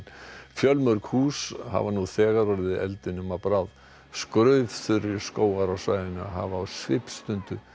fjölmörg hús hafa nú þegar orðið eldinum að bráð skógar á svæðinu hafa á svipstundu